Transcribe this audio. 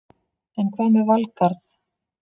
En hvað með Valgarð?